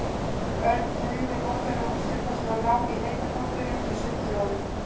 Örn teygði notalega úr sér þar sem hann lá í heita pottinum í sundlaugunum.